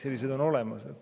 Sellised on olemas.